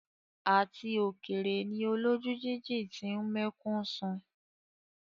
Àti òkèrè ni olójú jíjìn ti ń mẹ́kún sun.